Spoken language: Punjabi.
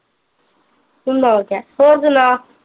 ਤੂੰ ਨੋਕ ਐ ਹੋਰ ਸੁਣਾ